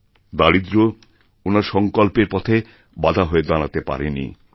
দারিদ্র্য ওনার সঙ্কল্পের পথে বাধা হয়ে দাঁড়াতে পারে নি